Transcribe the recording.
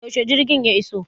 Yaushe jirgin ku ya iso?